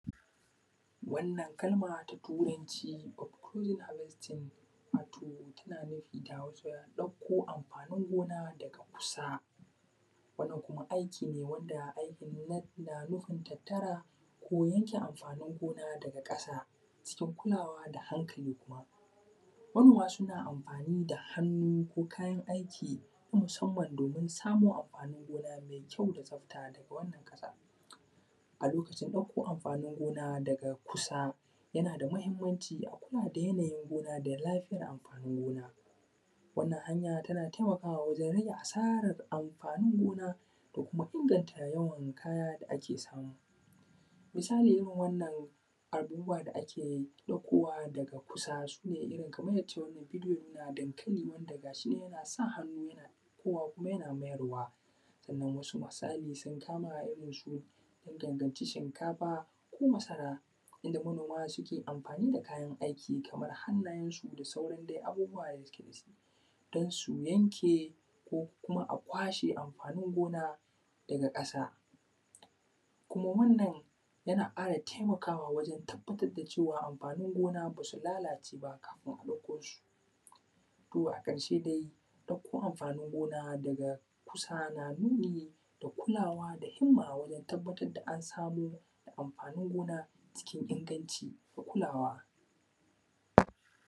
Wannan kalma ta Turanci “cop cooling harvesting”, wato tana nufi da Hausa ɗakko amfanin gona daga kusa. Wannan kuma aiki ne wanda aiki ne na; na nufin tattara ko yanke amfanin gona daga ƙasa cikin kulawa da hankali kuma. Manoma suna amfani da hannu ko kayan aiki na musamman domin samun amfanin gona me kyau da tsafta daga wannan ƙasa. A lokacin ɗakko amfanin gona daga kusa, yana da mahimmanci a kula da yanayin gona da lafiyar amfanin gona. Wannan hanya tana temakawa wajen rage asarar amfanin gona, da kuma inganta yawan kaya da ake samu. Misali irin wannan, abubuwa da ake ɗakkowa daga kusa, su ne irin kamay yadda wannan bidiyo ya nuna dankali wanda ga shi nan yana hannu yana ɗakkowa kuma yana mayarwa. Sannan, wasu masali sun kama irin su ya danganci shinkafa ko masara inda manoma suke amfani da kayan aiki, kamar hannayensu da sauran de abubuwa da suke da shi, dan su yanke, ko kuma a kwashe amfanin gona daga ƙasa Kuma wannan, yana ƙara temakawa wajen tabbatar da cewa, amfanin gona, ba su lalace ba kafin a ɗakko su. To, a ƙarshe dai, ɗakko amfanin gona daga kusa na nuni da kulawa da himma wajen tabbatad da an samo da amfanin gona cikin inganci da kulawa.